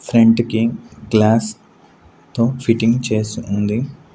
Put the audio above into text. Front కి glass తో fitting చేసి ఉంది.